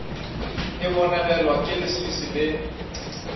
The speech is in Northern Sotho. e bonegelwa ke leswiswi le